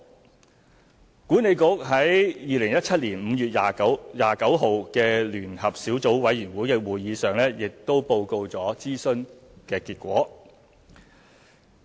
西九管理局在2017年5月29日的聯合小組委員會會議上報告了諮詢結果。